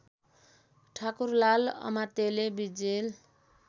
ठाकुरलाल अमात्यले विजेल